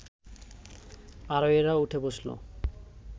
আরোহীরা উঠে বসল